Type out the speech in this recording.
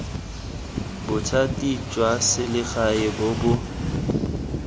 bothati jwa selegae bo bo